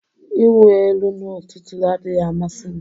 Ịwụ elu n'ụtụtụ adịghị amasị m